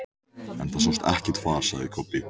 En það sást ekkert far, sagði Kobbi.